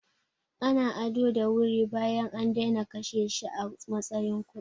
Ana ado da wuri bayan an daina kashe shi a matsayin kuɗi.